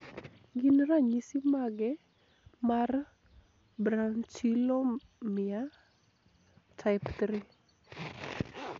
Gin ranyisi mage mar Brachyolmia type 3?